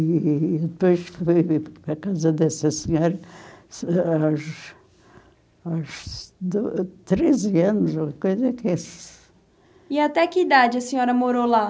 E depois fui para a casa dessa senhora aos aos do treze anos, ou coisa que é. E até que idade a senhora morou lá?